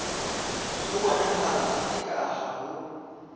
ho bonahala eka ha ho